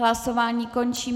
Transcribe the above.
Hlasování končím.